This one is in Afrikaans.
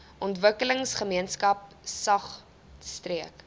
ontwikkelingsgemeenskap saog streek